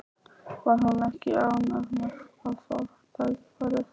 Var hún ekki ánægð með að fá tækifærið?